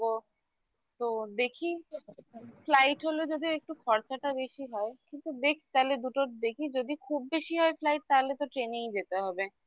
তো দেখি flight হলে যদি একটু খরচাটা বেশি হয় কিন্তু দেখ তাহলে দুটোর দেখি যদি খুব বেশি হয় flight তাহলে তো train ই যেতে হবে